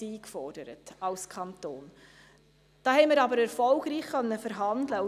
Hier konnten wir aber erfolgreich verhandeln.